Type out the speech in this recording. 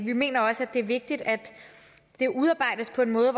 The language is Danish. vi mener også at det er vigtigt at det udarbejdes på en måde